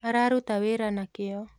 Araruta wĩra na kĩyo